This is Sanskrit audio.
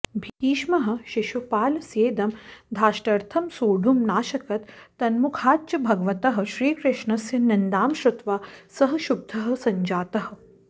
भीष्मः शिशुपालस्येदं धाष्टर्थं सोढुं नाशकत् तन्मुखाच्च भगवतः श्रीकृष्णस्य निन्दां श्रुत्वा सः क्षुब्धः सञ्जातः